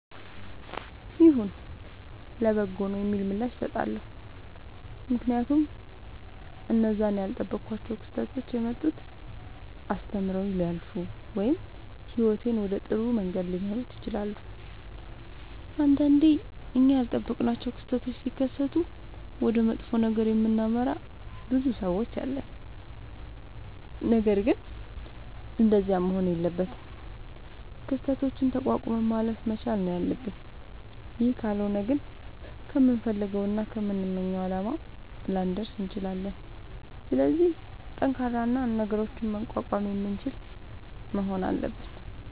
ይሁን ለበጎ ነዉ የሚል ምላሽ እሠጣለሁ። ምክንያቱም እነዚያ እኔ ያልጠበኳቸዉ ክስተቶች የመጡት አስተምረዉኝ ሊያልፉ ወይም ህይወቴን ወደ ጥሩ መንገድ ሊመሩት ይችላሉ። ንዳንዴ እኛ ያልጠበቅናቸዉ ክስተቶች ሢከሠቱ ወደ መጥፎ ነገር የምናመራ ብዙ ሠዎች አለን። ነገርግን እንደዚያ መሆን የለበትም። ክስተቶችን ተቋቁመን ማለፍ መቻል ነዉ ያለብን ይህ ካልሆነ ግን ከምንፈልገዉና ከምንመኘዉ አላማ ላንደርስ እንችላለን። ስለዚህ ጠንካራ እና ነገሮችን መቋቋም የምንችል መሆን አለብን።